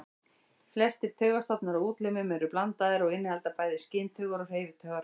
Flestir taugastofnar á útlimum eru blandaðir og innihalda bæði skyntaugar og hreyfitaugar.